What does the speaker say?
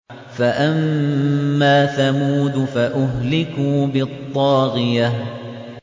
فَأَمَّا ثَمُودُ فَأُهْلِكُوا بِالطَّاغِيَةِ